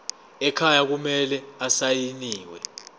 ekhaya kumele asayiniwe